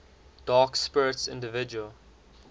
dark spirits individual